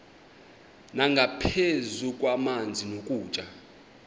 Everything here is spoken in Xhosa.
nangaphezu kwamanzi nokutya